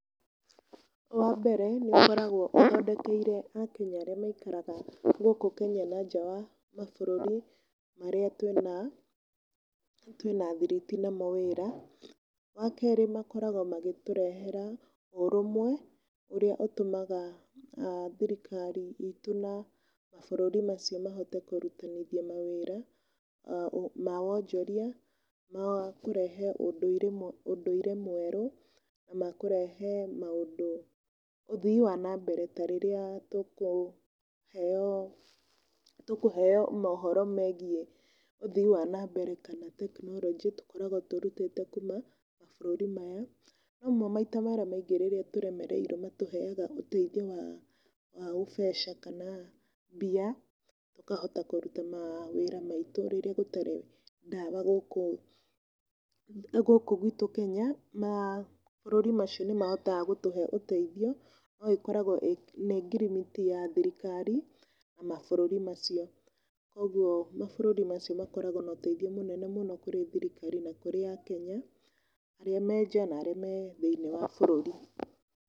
Wa mbere, nĩ ũkoragwo ũthondekeire a Kenya arĩa maikaraga, gukũ Kenya na nja wa, mabũrũri marĩa twĩna thiriti namo wĩra. Wa kerĩ makoragwo magĩtũrehera ũrũmwe, ũrĩa ũtũmaga, thirikari itũ na mabũrũri macio mahoite kũritithania mawĩra, ma wonjoria, na wa kũrehe ũndũire mwerũ, na makũrehe maũndũ, ũthii wa na mbere. Ta rĩrĩa tũkũheo mohoro megiĩ ũthii wa na mbere kana tekinoronjĩ tũkoragwo tũrutĩte kuma, mabũrũri maya. Rĩmwe maitra marĩa maingĩ tũremereirwo nĩ matũheaga ũteithio wa, ũbeca kana mbia, tũkahota kũruta mawĩra maitũ rĩrĩa gũtarĩ ndawa gũkũ na gũkũ gwitũ Kenya. Na mabũrũri macio nĩ mahotaga gũtũhe ũteithio no ĩkoragwo nĩ ngirimiti ya thirikari na mabũrũri macio. Koguo, mabũruri macio makoragwo na ũteithio mũnene mũno kũrĩ thirikari na kũrĩ aKenya arĩa me nja na arĩa me thĩinĩ wa bũrũri.